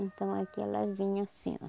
Então, aqui ela vinha assim, ó.